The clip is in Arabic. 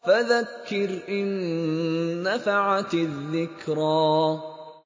فَذَكِّرْ إِن نَّفَعَتِ الذِّكْرَىٰ